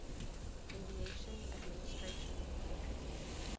aviation administration faa